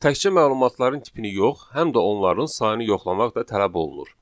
Təkcə məlumatların tipini yox, həm də onların sayını yoxlamaq da tələb olunur.